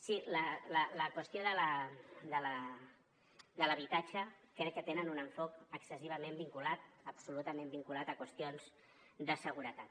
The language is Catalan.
sí en la qüestió de l’habitatge crec que tenen un enfocament excessivament vinculat absolutament vinculat a qüestions de seguretat